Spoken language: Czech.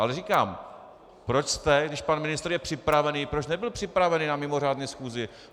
Ale říkám, proč jste, když pan ministr je připravený - proč nebyl připravený na mimořádné schůzi?